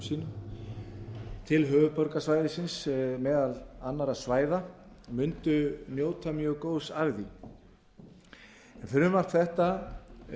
sínum til höfuðborgarsvæðisins meðal annarra svæða mundu njóta mjög góðs af því frumvarp þetta